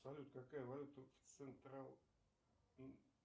салют какая валюта в централ